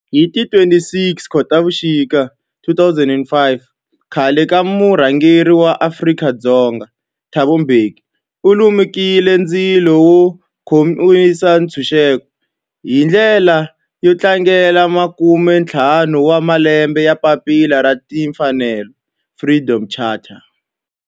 Hi ti 26 Khotavuxika 2005 khale ka murhangeri wa Afrika-Dzonga Thabo Mbeki u lumekile ndzilo wo kombisa ntshuxeko, hi ndlela yo tlangela makume-ntlhanu wa malembe ya papila ra timfanelo, Freedom Charter.